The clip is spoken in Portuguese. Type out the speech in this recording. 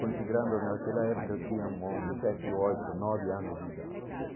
Considerando que naquela época eu tinha um sete ou oito, nove anos de idade.